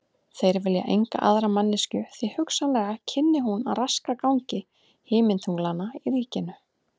Þeir vilja enga aðra manneskju því hugsanlega kynni hún að raska gangi himintunglanna í ríkinu.